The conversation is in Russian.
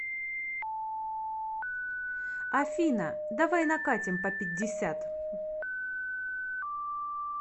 афина давай накатим по пятьдесят